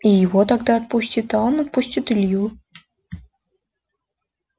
и его тогда отпустит а он отпустит илью